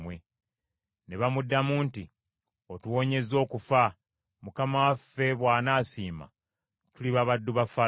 Ne bamuddamu nti, “Otuwonyezza okufa; mukama waffe bw’anaasiima tuliba baddu ba Falaawo.”